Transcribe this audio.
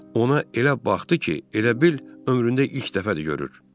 Ona elə baxdı ki, elə bil ömründə ilk dəfədir görür.